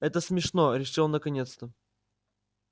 это смешно решил он наконец-то